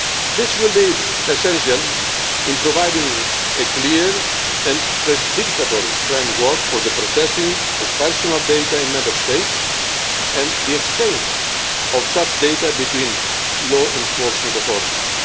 This will be essential in providing a clear and predictable framework for the processing of personal data in Member States and the exchange of such data between law enforcement authorities.